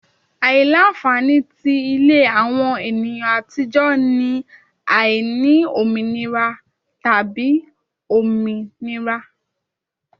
Aila-nfani ti ile awọn eniyan atijọ ni aini ominira tabi ominira